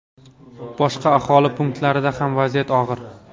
Boshqa aholi punktlarida ham vaziyat og‘ir.